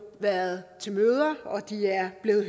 været til møder og de er blevet